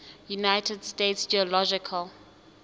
united states geological